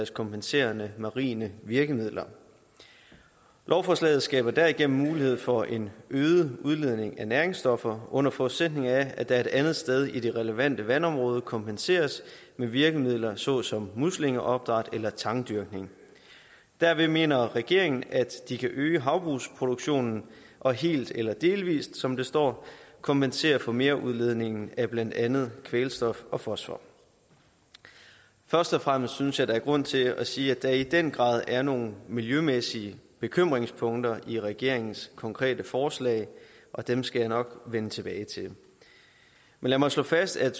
kompenserende marine virkemidler lovforslaget skaber derigennem mulighed for en øget udledning af næringsstoffer under forudsætning af at der et andet sted i det relevante vandområde kompenseres med virkemidler såsom muslingeopdræt eller tangdyrkning derved mener regeringen at de kan øge havbrugsproduktionen og helt eller delvis som det står kompensere for merudledningen af blandt andet kvælstof og fosfor først og fremmest synes jeg der er grund til at sige at der i den grad er nogle miljømæssige bekymringspunkter i regeringens konkrete forslag og dem skal jeg nok vende tilbage til men lad mig slå fast at